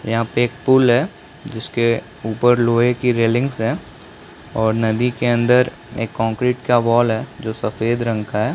यहाँ पे एक पूल है जिसके ऊपर लोहे की रेलिंग है और नदी के अंदर एक कंक्रीट का वॉल जो सफ़ेद रंग है।